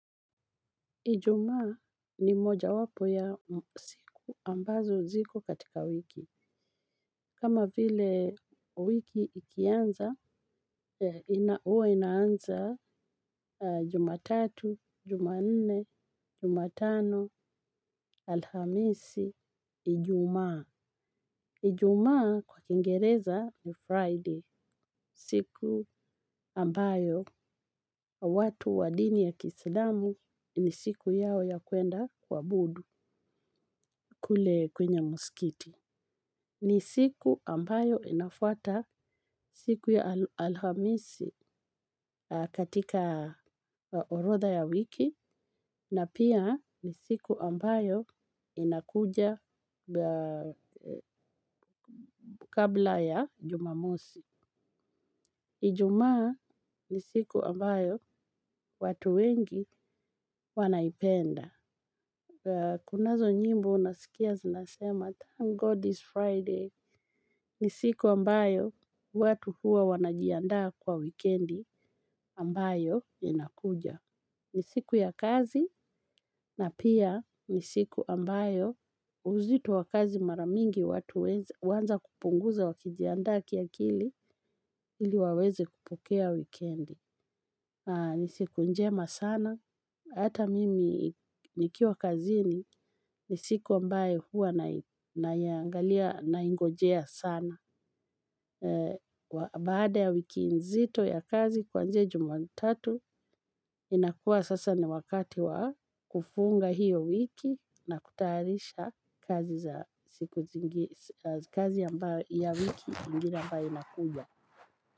Ijumaa ni mojawapo ya siku ambazo ziko katika wiki. Kama vile wiki ikianza, huwa inaanza Jumatatu, Jumanne, Jumatano, alhamisi, Ijumaa. Ijumaa kwa kiingereza ni Friday siku ambayo watu wa dini ya kiislamu ni siku yao ya kuenda kuabudu. Kule kwenye msikiti. Ni siku ambayo inafuata siku ya alhamisi katika orotha ya wiki na pia ni siku ambayo inakuja kabla ya jumamosi. Ijumaa ni siku ambayo watu wengi wanaipenda. Kunazo nyimbo unasikia zinasema thank god is Friday. Ni siku ambayo watu huwa wanajiandaa kwa wikendi ambayo inakuja. Ni siku ya kazi na pia ni siku ambayo uzito wa kazi mara mingi watu huanza kupunguza wakijiandaa kiakili ili waweze kupokea wikendi. Ni siku njema sana, hata mimi nikiwa kazini, ni siku ambayo huwa naiangalia, naingojea sana. Baada ya wiki nzito ya kazi kuanzia jumatatu, inakuwa sasa ni wakati wa kufunga hiyo wiki na kutayarisha kazi ya wiki ingine ambayo inakuja.